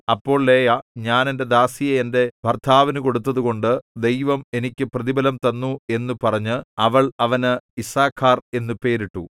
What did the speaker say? അപ്പോൾ ലേയാ ഞാൻ എന്റെ ദാസിയെ എന്റെ ഭർത്താവിനു കൊടുത്തതുകൊണ്ടു ദൈവം എനിക്ക് പ്രതിഫലം തന്നു എന്നു പറഞ്ഞ് അവൾ അവന് യിസ്സാഖാർ എന്നു പേരിട്ടു